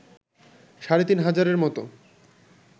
সাড়ে তিন হাজারের মত